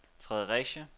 Fredericia